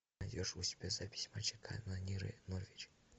найдешь у себя запись матча канониры норвич